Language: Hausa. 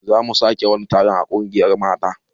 Zamu sake wani taron a ƙungiyar mata